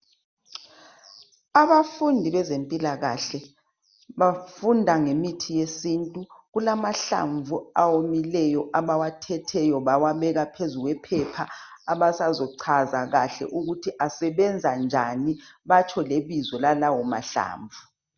Abafundi bezempilakahle bafunda ngemithi yesintu kulamahlamvu awomileyo abawathetheyo bawabeka phezu kwephepha abasazucaza kahle ukuthi asebenza njani batsho lebizo lalawo mahlamvu